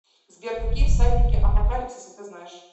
сбер какие всадники апокалипсиса ты знаешь